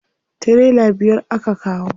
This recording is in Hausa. Tirela biyar aka kawo.